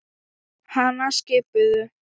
Hana skipuðu